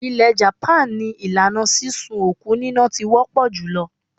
Ilẹ̀ japan ni ìlànà sísun òkú níná ti wọ́ pọ̀ jùlọ.